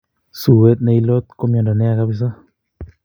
Suet ne ilot ko miondo neya kapsaa